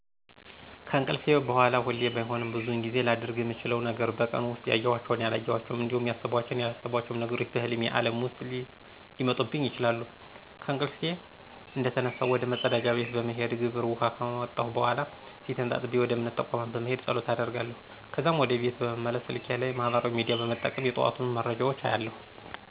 ከእንቅልፌ በሗላ ሁሌ ባይሆንም ብዙውን ጊዜ ላደርግ ምችለው ነገር በቀን ውስጥ ያዬኋቸው፣ ያላየኋቸው እንዲሁም ያሰብኳቸው፣ ያላሰብኳቸው ነገሮች በህልሜ ዓለም ውስጥ ሊመጡብኝ ይችላሉ። ከእንቅልፌ እንደተነሳሁ ወደ መፀዳጃ ቤት በመሄድ ግብር ውኃ ከወጣሁ በኃላ ፊቴን ታጥቤ ወደ እምነት ተቋም በመሄድ ፀሎት አደርጋለሁ። ከዛም ወደ ቤት በመመለስ ስልኬ ላይ ማህበራዊ ሚዲያ በመጠቀም የጠዋቱን መረጃዎች አያለሁ።